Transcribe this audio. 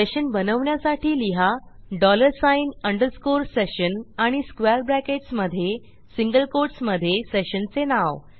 session बनवण्यासाठी लिहा dollar sign underscore session आणि स्क्वेअर bracketsमधे सिंगल कोटसमधे सेशनचे नाव